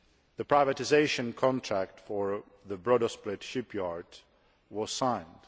The privatisation contract for the Brodosplit shipyard was signed